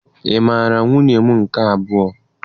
Ị mara nwunye m nke abụọ?